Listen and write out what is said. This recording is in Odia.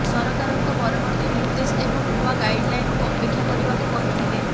ସରକାରଙ୍କ ପରବର୍ତ୍ତୀ ନିର୍ଦ୍ଦେଶ ଏବଂ ନୂଆ ଗାଇଡ୍ଲାଇନ୍କୁ ଅପେକ୍ଷା କରିବାକୁ କହିଥିଲେ